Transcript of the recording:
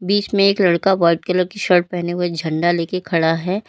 बीच में एक लड़का व्हाइट कलर की शर्ट पहने हुए झंडा लेके खड़ा है।